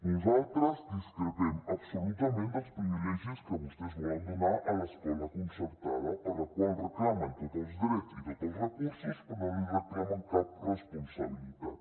nosaltres discrepem absolutament dels privilegis que vostès volen donar a l’escola concertada per a la qual reclamen tots els drets i tots els recursos però no li reclamen cap responsabilitat